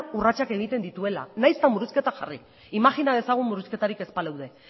urratsak egiten dituela nahiz eta murrizketak jarri imajina dezagun murrizketarik ez baleude